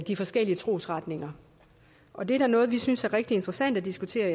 de forskellige trosretninger og det er da noget vi synes er rigtig interessant at diskutere